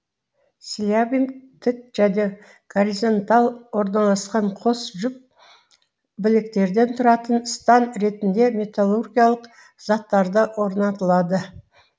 слябинг тік және горизонтал орналасқан қос жұп біліктерден тұратын стан ретінде металлургиялық затттарда орнатылады